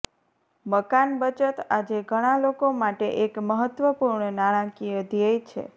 મકાન બચત આજે ઘણા લોકો માટે એક મહત્વપૂર્ણ નાણાકીય ધ્યેય છે